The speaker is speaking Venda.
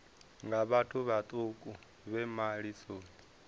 nga vhathu vhaṱuku vhe malisoni